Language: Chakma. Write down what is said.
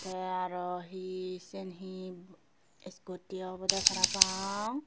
tey aro hi siyian hi scooty obodey para pang.